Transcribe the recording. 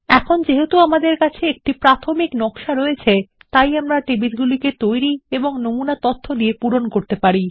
এখন যখন আমাদের কাছে একটি প্রাথমিক নকশা রয়েছে তাই আমরা টেবিলগুলিকে তৈরী এবং নমুনা তথ্য দিয়ে পূরণ করতে পারি